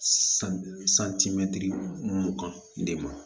Santimɛtiri mugan de ma